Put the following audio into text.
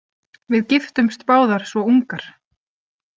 Við giftumst báðar svo ungar.